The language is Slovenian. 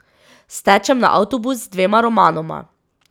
Stečem na avtobus z dvema romanoma.